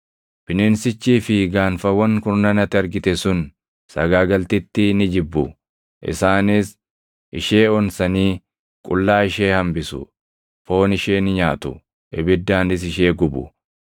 Bineensichii fi gaanfawwan kurnan ati argite sun sagaagaltittii ni jibbu. Isaanis ishee onsanii qullaa ishee hambisu; foon ishee ni nyaatu; ibiddaanis ishee gubu.